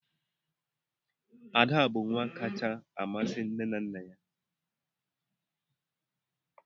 Ada bụ nwa kacha amasị nne na nna ya.